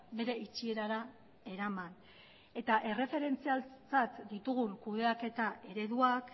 bere itxierara eraman eta erreferentziatzat ditugun kudeaketa ereduak